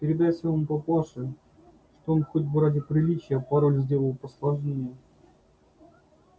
передай своему папаше что он хоть бы ради приличия пароль сделал посложнее